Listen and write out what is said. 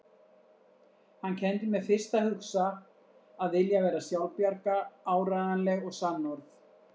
Hann kenndi mér fyrst að hugsa, að vilja vera sjálfbjarga, áreiðanleg og sannorð.